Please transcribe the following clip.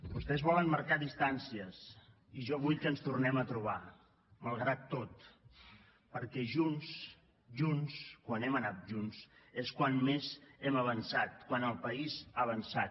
vostès volen marcar distàncies i jo vull que ens tornem a trobar malgrat tot perquè junts junts quan hem anat junts és quan més hem avançat quan el país ha avançat